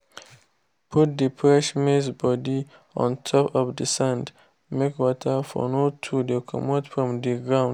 put the fresh maize body on top of the sand make water for no too dey comot from the ground